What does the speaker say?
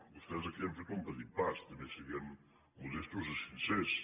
vostès aquí han fet un petit pas també siguem modestos i sincers